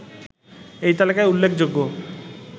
এই তালিকায় উল্লেখযোগ্য